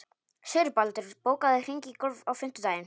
Sigurbaldur, bókaðu hring í golf á fimmtudaginn.